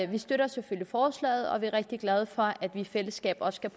vi støtter selvfølgelig forslaget og vi er rigtig glade for at man i fællesskab også kan